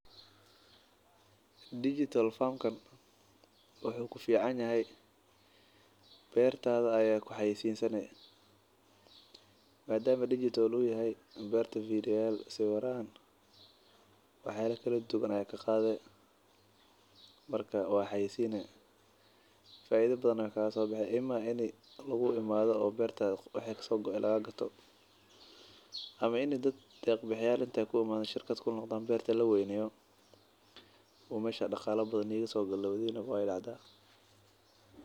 Digital farm kan wuxuu ku fiicanyahay beertaada ayaa ku xayaysiinsanay. maadama digital u yahay beerta fiidiyay sawiraan, waxay lekala duwan ay ka qaaday marka waan xayisiinay. Faaiido badankooda sobixay imaa in lagu imaado oo beertaada waxay kasoo go'aan lagaa gato. Amaan in dad deeq bixiyaalintay ku ammaan shirkad kun lahaa beertay la weyneeyo, u maysha dhaqaale badan, niyaga soo galaw dayna waydacda.